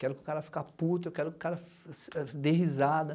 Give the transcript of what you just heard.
Quero que o cara fique puto, quero que o cara dê risada.